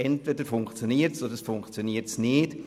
Entweder es funktioniert, oder es funktioniert nicht.